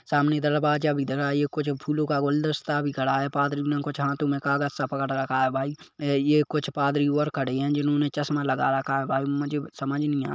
सामने दरवाजा भी दिख रहा है ये कुछ फूलों का गुलदस्ता भी खड़ा है पादरी ने कुछ हाथों मे कुछ कागज सा पकड़ रखा है भाई ये कुछ पादरी और खड़े है जिन्होंने चश्मा लगा रखा है भाई मुझे कुछ समझ नहीं आ --